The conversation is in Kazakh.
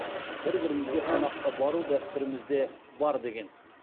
бір бірімізге қонаққа бару дәстүрімізде бар деген